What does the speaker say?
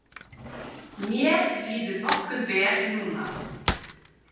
Mér líður nokkuð vel núna.